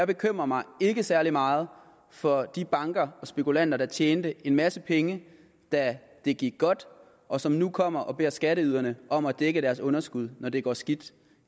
bekymrer mig særlig meget for de banker og spekulanter der tjente en masse penge da det gik godt og som nu kommer og beder skatteyderne om at dække deres underskud når det går skidt